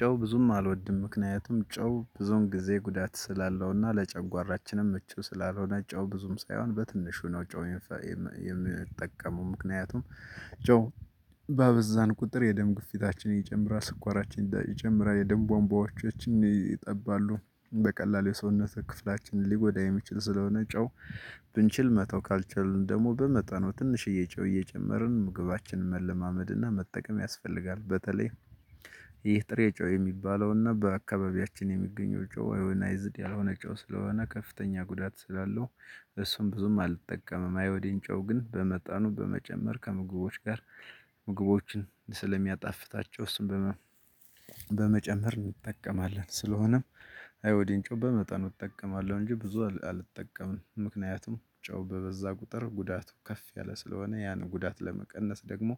ጨው ብዙም አልወድም ምክንያቱም ጨው ብዙን ጊዜ ጉዳት ስላለውና ለጨጓራችንም ምቹ ስላልሆነ ጨው ብዙም ሳይሆን በትንሹ ነው የምፈፍ የምጠቀመው ምክንያቱም። ጨው በአበዛን ቁጥር የደም ግፊታችን ይጨምራ ስኳራችን ይጨምራ የደም ቧንቧዎቻችን ይጠባሉ በቀላሉ የሰውነት ክፍላችንን ሊጎዳ የሚችል ስለሆነ። ጨው ብንችል መተው ካልቻልን ደግሞ በመጠኑ ትንሽ ጨው እየጨመርን ምግባችንን መለማመድና መጠቀም ያስፈልጋል። በተለይ ይህ ጥሬ ጨው የሚባለውና በአካባቢያችን የሚገኘው ጮህ አይናይዝድ ያልሆነ ጮህ ስለሆነ ከፍተኛ ጉዳት ስላለው። እሱን ብዙም አልጠቀመም አይወደኝ። ጨው ግን በመጣኑ በመጨመር ከምግቦች ጋር ምግቦችን ስለሚያጣፍታቸውስ። በመጨመር እንጠቀማለን ስለሆነም አይሆዲን ጨው በመጠኑ እጠቀማለሁ። እንጂ ብዙ አልጠቀምንም ምክንያቱም ጨው በበዛ ቁጥር ጉዳቱ ከፍ ያለ ስለሆነ። ያንን ጉዳት ለመቀነስ ደግሞ